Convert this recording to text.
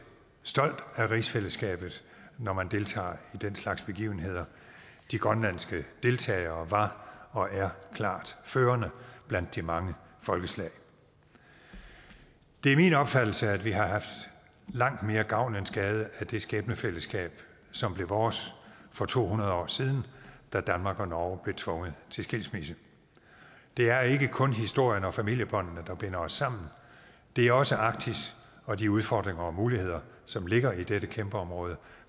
stolt af rigsfællesskabet når man deltager i den slags begivenheder de grønlandske deltagere var og er klart førende blandt de mange folkeslag det er min opfattelse at vi har haft langt mere gavn end skade af det skæbnefællesskab som blev vores for to hundrede år siden da danmark og norge blev tvunget til skilsmisse det er ikke kun historien og familiebåndene der binder os sammen det er også arktis og de udfordringer og muligheder som ligger i dette kæmpeområde